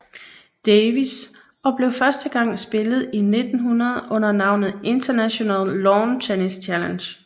Davis og blev første gang spillet i 1900 under navnet International Lawn Tennis Challenge